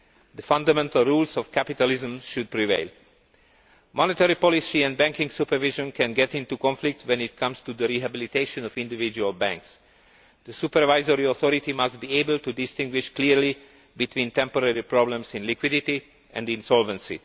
The fundamental rules of capitalism should prevail. Monetary policy and banking supervision can get into conflict when it comes to the rehabilitation of individual banks. The supervisory authority must be able to distinguish clearly between temporary problems in liquidity, and insolvency.